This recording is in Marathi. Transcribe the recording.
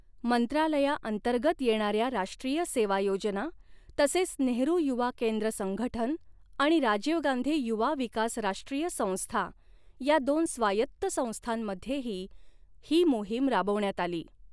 मंत्रालयाअंतर्गत येणाऱ्या राष्ट्रीय सेवा योजना, तसेच नेहरू युवा केंद्र संघठन आणि राजीव गांधी युवा विकास राष्ट्रीय संस्था या दोन स्वायत्त संस्थांमध्येही ही मोहीम राबवण्यात आली.